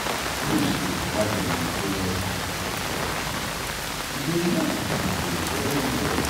you know say if mama dem dey go an ten atal care every time e dey help pikin grow well well.